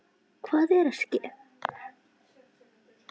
Hvað er að ske?